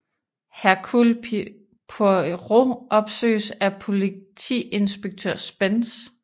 Hercule Poirot opsøges af politiinspektør Spence